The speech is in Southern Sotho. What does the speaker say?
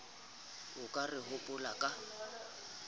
a ka re hopolang ka